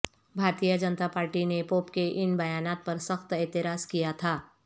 بھارتیہ Janata Party نے pope کے ان بیانات پر سخت اعتراض کیا تھا